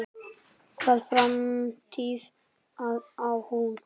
Hvaða framtíð á hún?